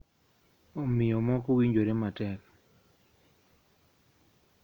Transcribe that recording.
Omiyo moko winjore matek.